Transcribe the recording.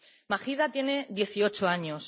Mahida tiene dieciocho años.